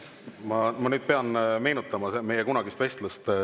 Ma pean nüüd meenutama meie kunagist vestlust.